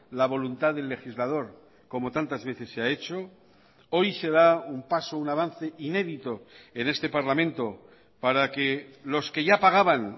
la voluntad del legislador como tantas veces se ha hecho hoy se da un paso un avance inédito en este parlamento para que los que ya pagaban